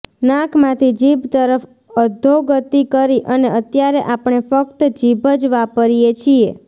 નાકમાંથી જીભ તરફ્ અધોગતિ કરી અને અત્યારે આપણે ફ્ક્ત જીભ જ વાપરીએ છીએ